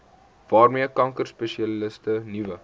waarmee kankerspesialiste nuwe